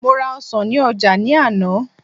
mo ra ọsàn ni oja ni àná